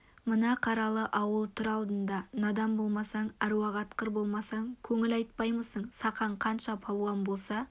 мына қаралы ауыл тұр алдында надан болмасаң аруақ атқыр болмасаң көңіл айтпаймысың сақан қанша палуан болса